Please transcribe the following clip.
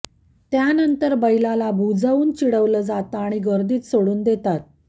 त्यानंतर बैलाला भुजवून चिडवलं जातं आणि गर्दीत सोडून देतात